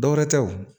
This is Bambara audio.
Dɔwɛrɛ tɛ o